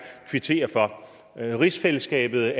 kvittere for rigsfællesskabet